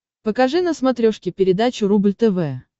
покажи на смотрешке передачу рубль тв